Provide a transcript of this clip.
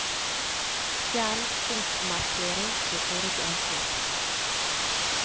Fjern punktmerking på forrige avsnitt